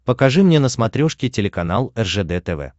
покажи мне на смотрешке телеканал ржд тв